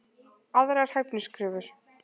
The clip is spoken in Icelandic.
Aðrar hæfniskröfur: